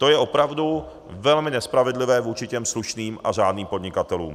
To je opravdu velmi nespravedlivé vůči těm slušným a řádným podnikatelům.